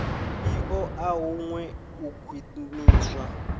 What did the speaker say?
i ṱoḓa huṅwe u khwiṋiswa